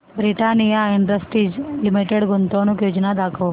Britannia industries limited गुंतवणूक योजना दाखव